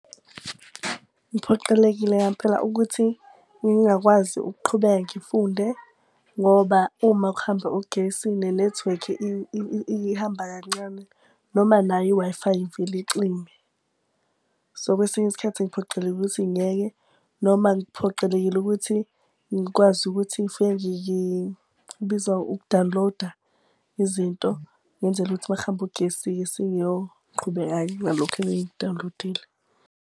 Ngiphoqelekile ngampela ukuthi ngingakwazi ukuqhubeka ngifunde ngoba uma kuhamba ugesi nenethiwekhi ihamba kancane noma nayo i-Wi-Fi ivele icime. So kwesinye isikhathi ngiphoqelekile ukuthi ngiyeke noma ngiphoqelekile ukuthi ngikwazi ukuthi ngifike kubizwa uku-download-a izinto, ngenzela ukuthi uma kuhambe ugesi-ke sengiyoqhubeka nalokhu engiku-download-ile.